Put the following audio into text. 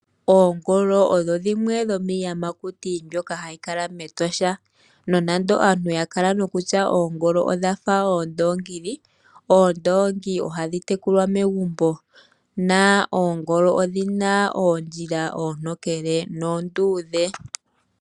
Oongolo odho dhimwe dhomiiyamakuti mbyoka hadhi kala mEtosha. Nonando aantu ya kala nokutya oongolo odha fa oondoongi, oondongi ohadhi tekulwa megumbo na oongolo odhina oondjila oontokele noonduudhe.